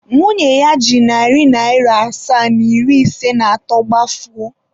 Nwunye ya ji narị naịra asaa na iri ise na atọ gbafuo.